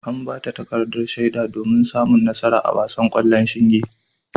An bata takardar shaida domin samun nasara a wasan ƙwallon shinge.